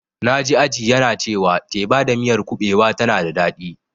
Na ji Aji yana cewa teba da miyar kuɓewa tana da daɗi.